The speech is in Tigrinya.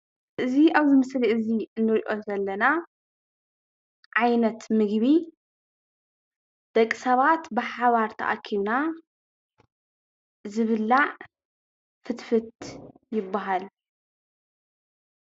እዚ ኣብዚ ምስሊ እዚ እንሪኦ ዘለና ዓይነት ምግቢ ደቂ ሰባት ብሓባር ተኣኪብና ዝብላዕ ፍትፍት ይብሃል።